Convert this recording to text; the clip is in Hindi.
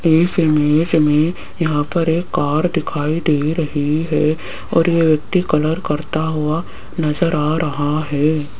इस इमेज में यहां पर एक कार दिखाई दे रही है और ये व्यक्ति कलर करता हुआ नजर आ रहा है।